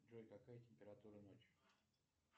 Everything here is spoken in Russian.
джой какая температура ночью